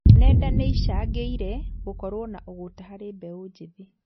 Nenda nĩicangĩire gũkorwo na ũgũta harĩ mbeũ njĩthĩ